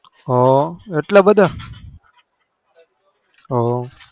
હ એટલા બધા હા